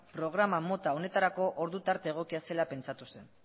programa mota honetarako ordu tarte egokia zela pentsatu zen